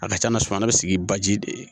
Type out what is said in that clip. A ka ca na suman bɛ sigi baji de